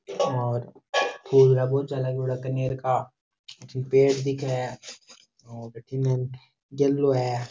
और फूल रा गुच्छा लागयोड़ा है कनेर का अठीने पेड़ दिखे है और बटीने है।